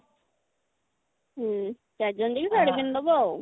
ହଁ ଚାରିଜଣ ଯାକ ଶାଢୀ ପିନ୍ଧି ଦେବ ଆଉ